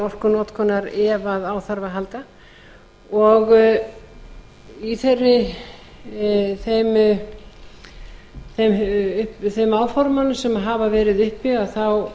orkunotkunar ef á þarf að halda og í þeim áformum sem hafa verið uppi þá